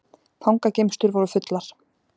Fangageymslur voru fullar